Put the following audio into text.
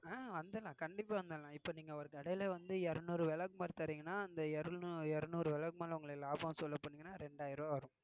அஹ் வந்துடலாம் கண்டிப்பா வந்திடலாம் இப்போ நீங்க ஒரு கடையிலே வந்து இருநூறு விளக்குமாறு தர்றீங்கன்னா அந்த இருநூ~ இருநூறு விளக்குமாறு உங்களுக்கு லாபம் சொல்ல போணீங்கன்னா இரண்டாயிரம் ரூபாய் வரும்